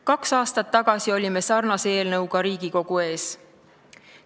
Kaks aastat tagasi olime sarnase eelnõuga Riigikogu ees.